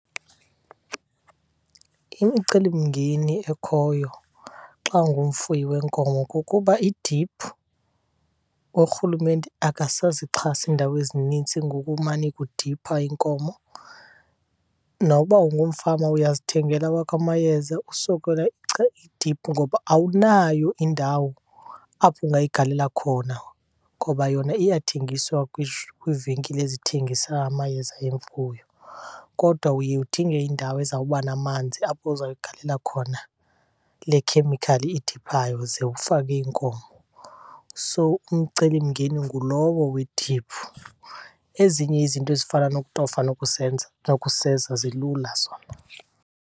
Imicelimngeni ekhoyo xa ungumfuyi weenkomo kukuba idiphu uRhulumente akasazixhasi iindawo ezinintsi ngokumane kudiphwa iinkomo. Noba ungumfama uyazithengela awakho amayeza usokola idiphu ngoba awunayo indawo apho ungayigalela khona. Ngoba yona iyathengiswa kwiivenkile ezithengisa amayeza emfuyo kodwa uye udinge indawo ezawuba namanzi apho uzayigalela khona le chemical idiphayo ze ufake iinkomo. So umcelimngeni ngulowo wediphu, ezinye izinto ezifana nokutofa nokuseza zilula zona.